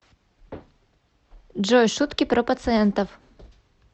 джой шутки про пациентов